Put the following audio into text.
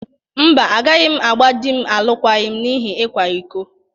Mba, agaghị m agba di m alụkwaghịm n'ihi ịkwa iko.